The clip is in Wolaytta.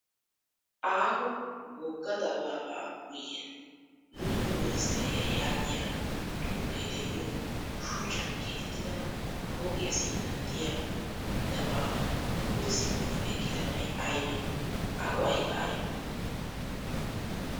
Aaho wogga dabaabaa guyyen luxiyo ministteriyaa yaagiya xuufee diyo shuchchan keexettida pooqiyaa sinttan diya dabaaban pude simmidi eqqidabay ayibee? A go'ayikka ayibee?